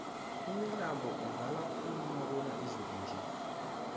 imilambo izala khulu nakuna izulu nje